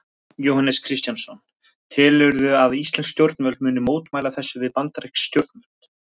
Jóhannes Kristjánsson: Telurðu að íslensk stjórnvöld muni mótmæla þessu við bandarísk stjórnvöld?